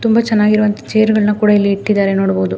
ತುಂಬ ಚೆನ್ನಾಗಿರುವಂತಹ ಚೇರ್ ಗಳನ್ನು ಕೂಡ ಇಲ್ಲಿ ಇಟ್ಟಿದ್ದಾರೆ ನೋಡಬಹುದು .